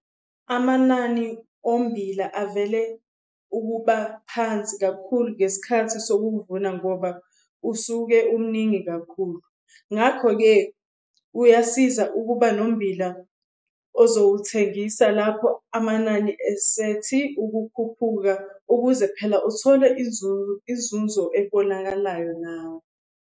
Amanani ommbila avame ukuba phansi kakhulu ngesikhathi sokuvuna ngoba usuke umningi kakhulu. Ngakho-ke kuyasiza ukuba nommbila ozowuthengisa lapho amanani esethi ukukhuphuka ukuze phela uthole inzuzo ebonakalayo nawe.